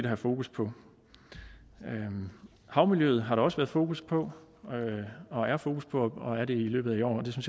have fokus på havmiljøet har der også været fokus på og er fokus på og er det i løbet af i år og det